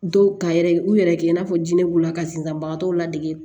Dɔw ka yɛrɛ u yɛrɛ kɛ i n'a fɔ jinɛ b'u la ka sinzanbagatɔw ladege